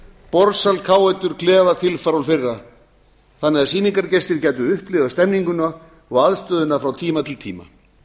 borðsal káetur klefa þilfar og fleira þannig að sýningargestir gætu upplifað stemninguna og aðstöðuna frá tíma til tíma